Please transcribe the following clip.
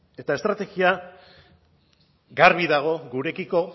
eta estrategia garbi dago gurekiko